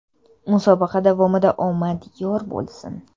Musobaqa davomida omad yor bo‘lsin!